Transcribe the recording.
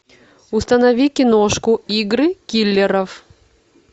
установи киношку игры киллеров